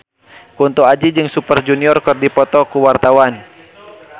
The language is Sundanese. Kunto Aji jeung Super Junior keur dipoto ku wartawan